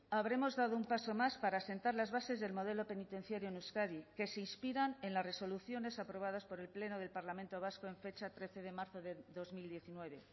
habremos dado un paso más para asentar las bases del modelo penitenciario en euskadi que se inspiran en las resoluciones aprobadas por el pleno del parlamento vasco en fecha trece de marzo del dos mil diecinueve